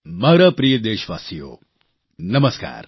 મારા પ્રિય દેશવાસીઓ નમસ્કાર